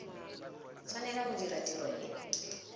tshwanela go dira tiro e